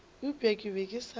eupša ke be ke sa